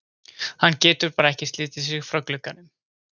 Hann getur bara ekki slitið sig frá glugganum.